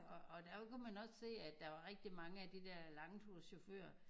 Og og der kunne man også se at der var rigtig mange af de der langturschauffører